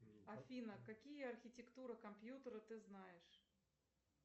афина какие архитектуры компьютера ты знаешь